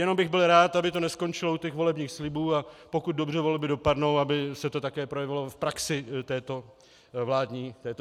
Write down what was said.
Jenom bych byl rád, aby to neskončilo u těch volebních slibů, a pokud dobře volby dopadnou, aby se to také projevilo v praxi této vládní strany.